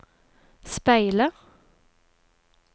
speile